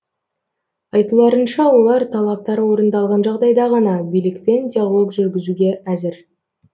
айтуларынша олар талаптары орындалған жағдайда ғана билікпен диалог жүргізуге әзір